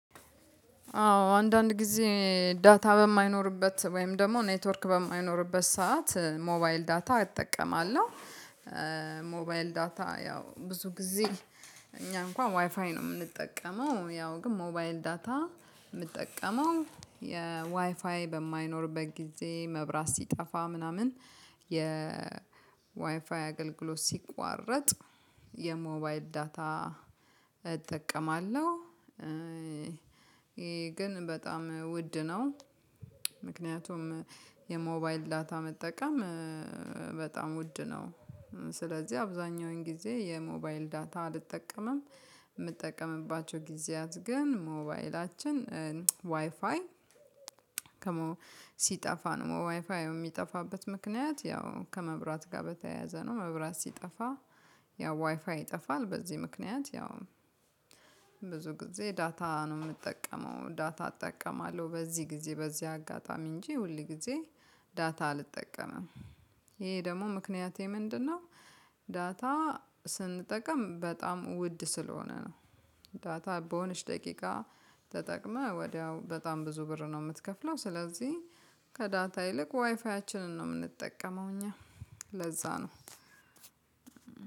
አዎ አንዳንድ ጊዜ ዳታ በማይኖርበት ወይም ደግሞ ኔትወርክ በማይኖርበት ሰዓት ሞባይል ዳታ እጠቀማለሁ። ሞባይል ዳታ ያው ብዙ ጊዜ እኛ እንኳን ዋይፋይ ነው የምንጠቀመው ያው ግን ሞባይል ዳታ የምጠቀመው የዋይፋይ በማይኖርበት ጊዜ መብራት ሲጠፋ ምናምን የ ዋይፋይ አገልግሎት ሲቋረጥ የሞባይል ዳታ እጠቀማለሁ። ግን በጣም ውድ ነው። ምክንያቱም የሞባይል ዳታ መጠቀም በጣም ውድ ነው። ስለዚህ አብዛኛውን ጊዜ የሞባይል ዳታ አልጠቀምም። የምጠቀምባቸው ጊዜያት ግን ሞባይላችን ዋይፋይ ከሞ ሲጠፋ ነው ዋይፋው የሚጠፋበት ምክንያት ያው ከመብራት ጋር በተያያዘ ነው። መብራት ሲጠፋ ያው ዋይፋይ ይጠፋል በዚህ ምክንያት ያው። ብዙ ጊዜ ዳታ ነው የምንጠቀመው ዳታ እጠቀማለሁ በዚህ ጊዜ በዚህ አጋጣሚ እንጂ ሁል ጊዜ ዳታ አልጠቀምም። ይሄ ደግሞ ምክንያቴ ምንድነው? ዳታ ስንጠቀም በጣም ውድ ስለሆነ ነው። ዳታ በሆነች ደቂቃ ተጠቅመህ ወዲያው በጣም ብዙ ብር ነው የምትከፍለው ስለዚህ። ከዳታ ይልቅ ዋይፋያችንን ነው የምንጠቀመው እኛ ለዛ ነው።